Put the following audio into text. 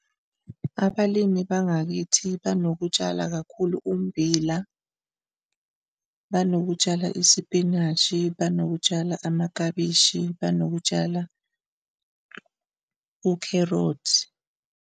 Abalimi bangakithi banokutshala kakhulu ummbila, banokutshala isipinashi, banokutshala amaklabishi, banokutshala ukherothi.